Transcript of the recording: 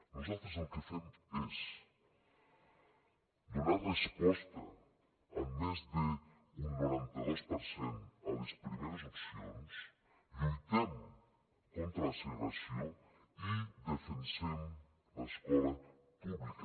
nosaltres el que fem és donar resposta amb més d’un noranta dos per cent a les primeres opcions lluitem contra la segregació i defensem l’escola pública